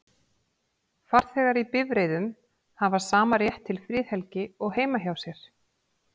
Farþegar í bifreiðum hafa sama rétt til friðhelgi og heima hjá sér.